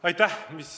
Aitäh!